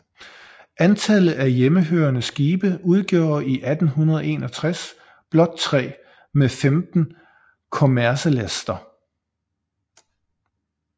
Antallet af hjemmehørende skibe udgjorde i 1861 blot 3 med 15 kommercelæster